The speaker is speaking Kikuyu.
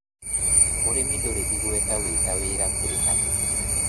Ūrĩmi ndũrĩ igweta wĩ ta wĩra kũrĩ andũ